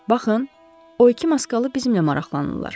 Baxın, o iki maskalı bizimlə maraqlanırlar.